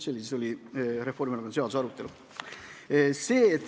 See siis oli Reformierakonna seaduseelnõu arutelul.